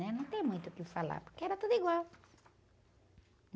Né? Não tem muito o que falar, porque era tudo igual.